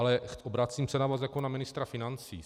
Ale obracím se na vás jako na ministra financí.